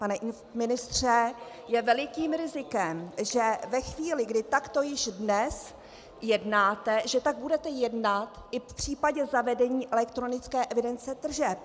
Pane ministře, je velikým rizikem, že ve chvíli, kdy takto již dnes jednáte, že tak budete jednat i v případě zavedení elektronické evidence tržeb.